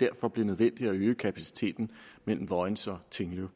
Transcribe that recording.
derfor nødvendigt at øge kapaciteten mellem vojens og tinglev